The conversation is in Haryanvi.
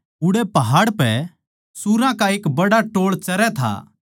उड़ै पहाड़ पै सुअरां का एक बड्ड़ा टोळ चरै था